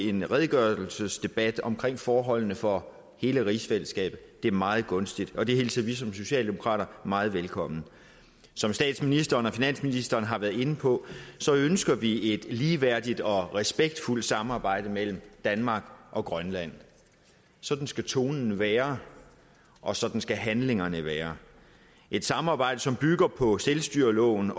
en redegørelsesdebat om forholdene for hele rigsfællesskabet det er meget gunstigt og det hilser vi som socialdemokrater meget velkommen som statsministeren og finansministeren har været inde på ønsker vi et ligeværdigt og respektfuldt samarbejde mellem danmark og grønland sådan skal tonen være og sådan skal handlingerne være et samarbejde som bygger på selvstyreloven